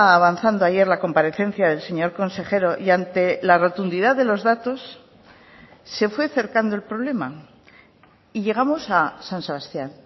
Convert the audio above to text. avanzando ayer la comparecencia del señor consejero y ante la rotundidad de los datos se fue cercando el problema y llegamos a san sebastián